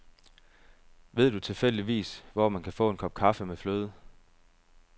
Ved du tilfældigvis, hvor man kan få en kop kaffe med fløde.